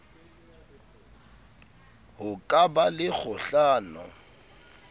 ho ka ba le kgohlano